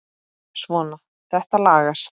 Svona, þetta lagast